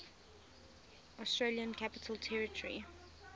australian capital territory